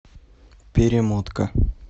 перемотка